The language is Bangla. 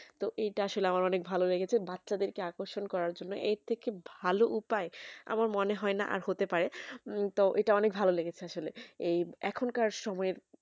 তো ইটা আসলে আমার অনেক ভালো লেগেছে বাচ্চাদের কে আকর্ষণ করার জন্য এর থেকে ভালো উপায় আমার মনে হয় না আর হতে পারে তো ওইটা অনেক ভাল লেগেছে আসলে এই এখনকার সময